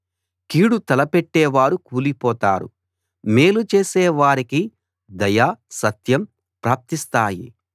కీడు తలపెట్టేవారు కూలిపోతారు మేలు చేసే వారికి దయ సత్యం ప్రాప్తిస్తాయి